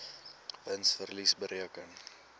wins verlies bereken